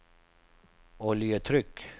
oljetryck